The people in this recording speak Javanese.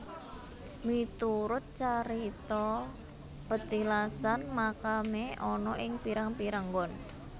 Miturut carita petilasan makamé ana ing pirang pirang nggon